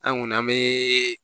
An kɔni an bɛ